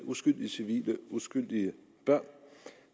uskyldige civile uskyldige børn